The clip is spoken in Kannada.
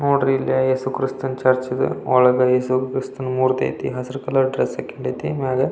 ನೋಡ್ರಿ ಇಲ್ಲಿ ಯೇಸು ಕ್ರಿಸ್ತನ ಚರ್ಚ್ ಇದು ಒಳಗಡೆ ಯೇಸು ಕ್ರಿಸ್ಟಿನಾ ಮೂರ್ತಿ ಐತೆ ಹಸಿರು ಕಲರ್ ಡ್ರೆಸ್ ಹಾಕೊಂಡೈತೆ ಮೇಲೆ. --